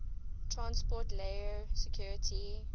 transport layer security